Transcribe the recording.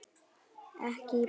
Ekki í bráð.